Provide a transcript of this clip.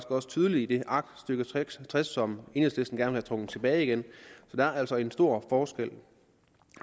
også tydeligt i det aktstykke tres som enhedslisten gerne trukket tilbage igen så der er altså en stor forskel